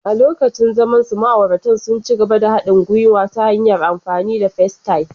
A lokacin zamansu, ma'auratan sun ci gaba da haɗin gwiwa ta hanyar amfani da Facetime.